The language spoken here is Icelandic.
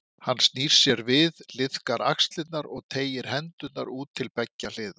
Hann snýr sér við, liðkar axlirnar og teygir hendurnar út til beggja hliða.